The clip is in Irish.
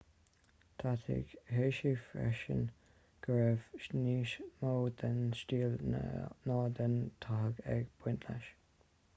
d'áitigh hsieh freisin go raibh níos mó den stíl ná den tathag ag baint leis